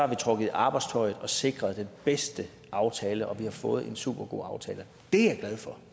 vi trukket i arbejdstøjet og sikret den bedste aftale og vi har fået en supergod aftale dét